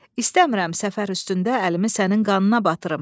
İstəmirəm səfər üstündə əlimi sənin qanına batırım.